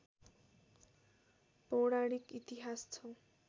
पौराणिक इतिहास छ